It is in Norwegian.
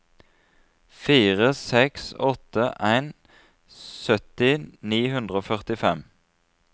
fire seks åtte en sytti ni hundre og førtifem